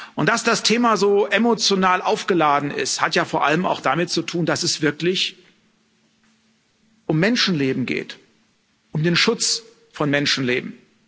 Und dass das Thema so emotional aufgeladen ist, hat ja vor allem auch damit zu tun, dass es wirklich um Menschenleben geht, um den Schutz von Menschenleben.